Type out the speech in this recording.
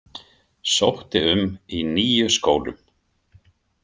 Sótti um í níu skólum.